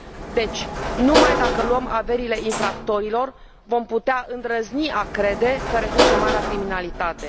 Deci, numai dacă luăm averile infractorilor vom putea îndrăzni a crede că reducem marea criminalitate.